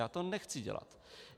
Já to nechci dělat.